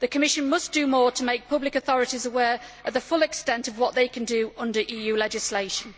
The Commission must do more to make public authorities aware of the full extent of what they can do under EU legislation.